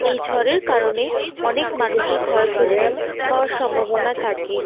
এই ঝড়ের কারণে অনেক মানুষের ক্ষয়ক্ষতি হওয়ার সম্ভাবনা থাকে।